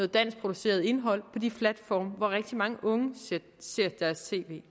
danskproduceret indhold på de platforme hvor rigtig mange unge ser deres tv